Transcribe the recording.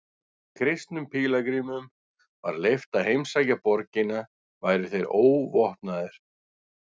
Kristnum pílagrímum var leyft að heimsækja borgina væru þeir óvopnaðir.